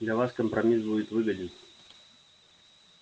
для вас компромисс будет выгоден